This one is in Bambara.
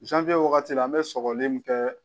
Zanwiye wagati la an mɛ sɔgɔli min kɛ